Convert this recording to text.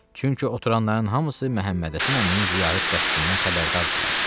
Çünki oturanların hamısı Məhəmmədhəsən əminin ziyarət qəsdindən xəbərdardılar.